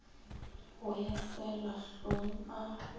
go yo selwa hlong a